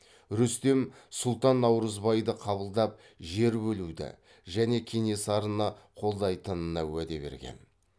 рүстем сұлтан наурызбайды қабылдап жер бөлуді және кенесарыны қолдайтынына уәде берген